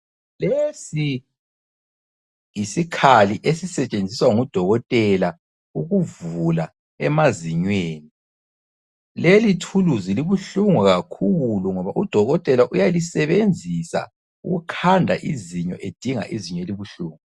Lesi yisikhali esisetshenziswa ngudokotela ukuvula emazinyweni. Lelithuluzi libuhlungu kakhulu ngoba udokotela uyalisebenzisa ukukhanda izinyo edinga izinyo elibuhlungu.